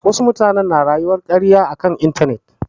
Wadansu mutane na rayuwar karya a kan intanet.